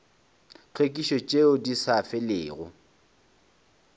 tlhwekišo tšeo di sa felego